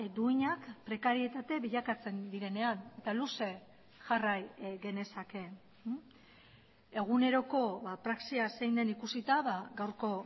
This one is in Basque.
duinak prekarietate bilakatzen direnean eta luze jarrai genezake eguneroko praxia zein den ikusita gaurko